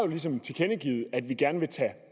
ligesom tilkendegivet at vi gerne vil tage